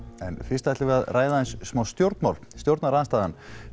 en fyrst ætlum við að ræða aðeins stjórnmál stjórnarandstaðan